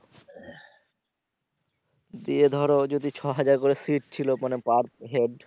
দিয়ে ধর ও যদি ছ হাজার করে সিট ছিলো মানে per head